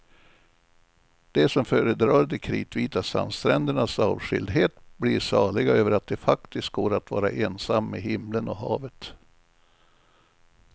De som föredrar de kritvita sandsträndernas avskildhet blir saliga över att det faktiskt går att vara ensam med himlen och havet.